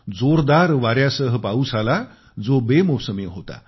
जोरदार वाऱ्यासह पाऊस आला जो बेमोसमी होता